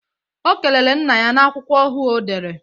Ọ kelere nna ya n'akwụkwọ ọhuu ọdere